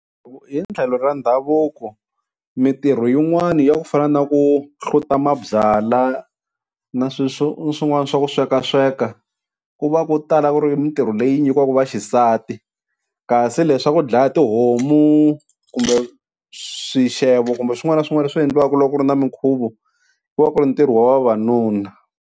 hi tlhelo ra ndhavuko mintirho yin'wani ya ku fana na ku hluta mabyala na sweswo swin'wana swa ku sweka sweka, ku va ku tala ku ri mintirho leyi nyikiwaku vaxisati kasi leswaku dlaya tihomu kumbe swixevo kumbe swin'wana na swin'wana leswi endliwaka loko ku ri na minkhuvo ku va ku ri ntirho wa vavanuna.